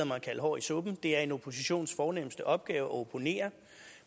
mig at kalde hår i suppen det er en oppositions fornemste opgave at opponere